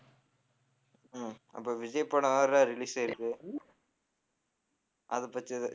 உம் அப்ப விஜய் படம் வேற release ஆயிருக்கு அதைப் பத்தி எதா~